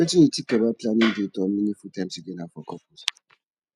wetin you think about planning dates or meaningful time together for couples